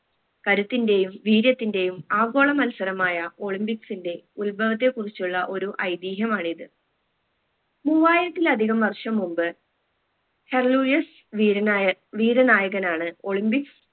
കരുത്തിന്റെയും വീര്യത്തിന്റെയും ആഗോള മത്സരമായ olympics ന്റെ ഉത്ഭവത്തെ കുറിച്ചുള്ള ഒരു ഐതിഹ്യമാണ് മൂവായിരത്തിലധികം വർഷം മുമ്പ് ഹെർലൂയസ് വീരനായ വീരനായകനാണ് olympics